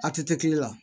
A tɛ kɛ kile la